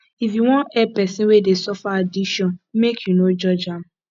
if you wan help pesin wey dey suffer addiction make you no judge am